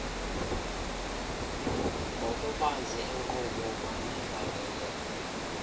ngokubanzi enkqubo kwanenkangeleko